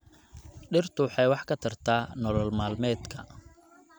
Dhirtu waxay wax ka tarta nolol maalmeedka.